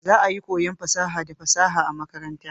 Za'a iya koyon fasaha da fasaha a makaranta.